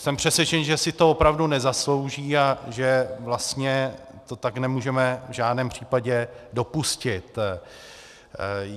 Jsem přesvědčen, že si to opravdu nezaslouží a že vlastně to tak nemůžeme v žádném případě dopustit.